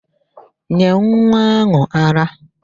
Nye nwa áhụ̀ ara!